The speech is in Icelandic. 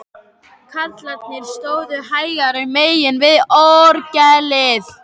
Karlarnir stóðu hægra megin við orgelið.